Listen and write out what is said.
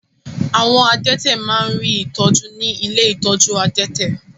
Àwọn adẹ́tẹ̀ má rí ìtọ́jú ní ilé ìtọ́jú adẹ́tẹ̀.